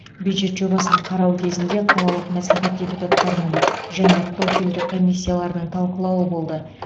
бюджет жобасын қарау кезінде қалалық мәслихат депутаттарының және профильді комиссиялардың талқылауы болды